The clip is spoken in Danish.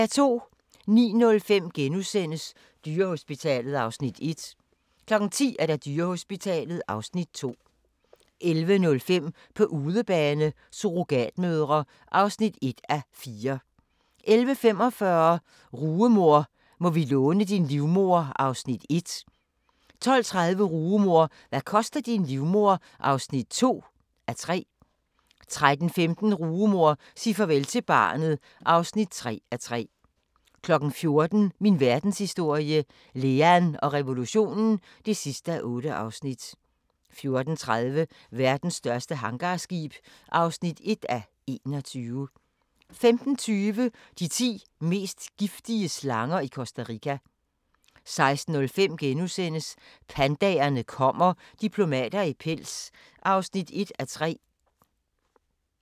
09:05: Dyrehospitalet (Afs. 1)* 10:05: Dyrehospitalet (Afs. 2) 11:05: På udebane: Surrogatmødre (1:4) 11:45: Rugemor – må vi låne din livmoder? (1:3) 12:30: Rugemor – hvad koster din livmoder? (2:3) 13:15: Rugemor – sig farvel til barnet (3:3) 14:00: Min verdenshistorie - Lean og revolutionen (8:8) 14:30: Verdens største hangarskib (1:21) 15:20: De ti mest giftige slanger i Costa Rica 16:05: Pandaerne kommer – diplomater i pels (1:3)*